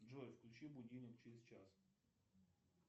джой включи будильник через час